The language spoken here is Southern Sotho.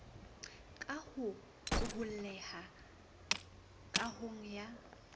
ka ho qoholleha kahong ya